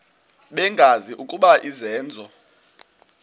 bengazi ukuba izenzo